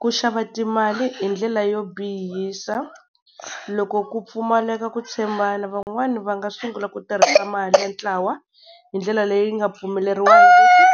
Ku xava timali hi ndlela yo bihisa, loko ku pfumaleka ku tshembana van'wani va nga sungula ku tirhisa mali ya ntlawa hi ndlela leyi nga pfumeleriwangiki,